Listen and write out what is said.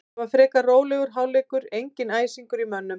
Það var frekar rólegur hálfleikur, enginn æsingur í mönnum.